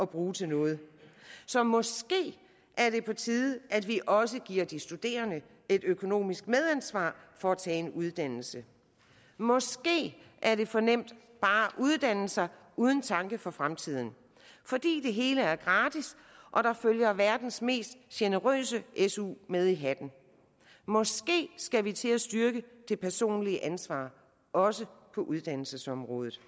bruge til noget så måske er det på tide at vi også giver de studerende et økonomisk medansvar for at tage en uddannelse måske er det for nemt bare at uddanne sig uden tanke for fremtiden fordi det hele er gratis og der følger verdens mest generøse su med i hatten måske skal vi til at styrke det personlige ansvar også på uddannelsesområdet